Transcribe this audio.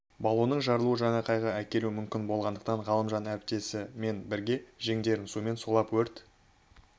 баллонның жарылуы жаңа қайғы әкелуі мүмкін болғандықтан ғалымжан әріптесі мен бірге жеңдерін сумен сулап өрт